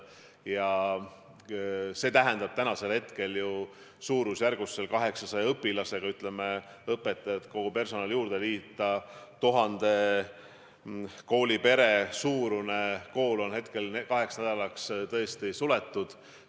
Ja see tähendab täna, et suurusjärgus 800 õpilasest ja kui õpetajad ja muu personal juurde liita, siis 1000 inimesest koosneva kooliperega kool on kaheks nädalaks suletud.